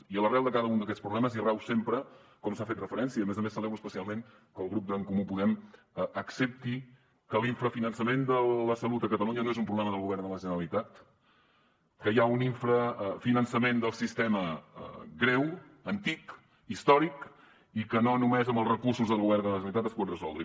i a l’arrel de cada un d’aquests problemes hi rau sempre com s’ha fet referència i a més a més celebro especialment que el grup d’en comú podem ho accepti que l’infrafinançament de la salut a catalunya no és un problema del govern de la generalitat que hi ha un infrafinançament del sistema greu antic històric i que no només amb els recursos del govern de la generalitat es pot resoldre